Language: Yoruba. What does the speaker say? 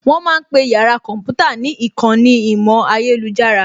Wọ́n ma ń pe yàrá kọ̀ḿpútà ní ìkànnì ìmọ̀ ayélujára